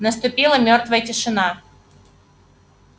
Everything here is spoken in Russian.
наступила мёртвая тишина